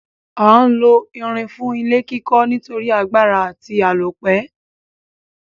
A n lo irin fún ilé kíkó nítorí agbára àti àlópẹ́